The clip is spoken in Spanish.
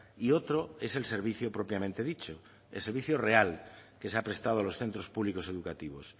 y otro es el servicio propiamente dicho el servicio real que se ha prestado a los centros públicos educativos